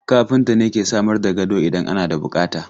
Kafinta ne ke samar da gado idan ana da bukata.